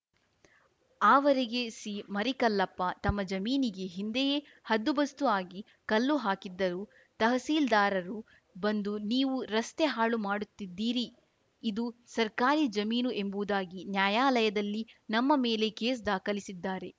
ಆವರಗೆರೆ ಸಿಮರಿಕಲ್ಲಪ್ಪ ತಮ್ಮ ಜಮೀನಿಗೆ ಹಿಂದೆಯೇ ಹದ್ದುಬಸ್ತು ಆಗಿ ಕಲ್ಲು ಹಾಕಿದ್ದರೂ ತಹಸೀಲ್ದಾರರು ಬಂದು ನೀವು ರಸ್ತೆ ಹಾಳು ಮಾಡುತ್ತಿದ್ದೀರಿ ಇದು ಸರ್ಕಾರಿ ಜಮೀನು ಎಂಬುವುದಾಗಿ ನ್ಯಾಯಾಲಯದಲ್ಲಿ ನಮ್ಮ ಮೇಲೆ ಕೇಸ್‌ ದಾಖಲಿಸಿದ್ದಾರೆ